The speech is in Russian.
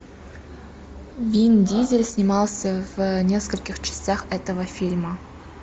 вин дизель снимался в нескольких частях этого фильма